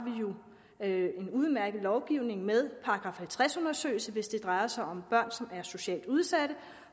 en udmærket lovgivning med § halvtreds undersøgelse hvis det drejer sig om børn som er socialt udsatte